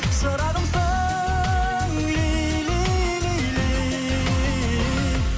шырағымсың лейли лейли